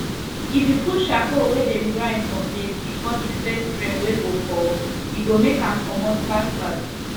if you put charcoal wey dem grind for maize before the first rain wey go fall e go make am comot fast fast